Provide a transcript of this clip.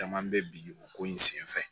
Caman bɛ bi o ko in senfɛ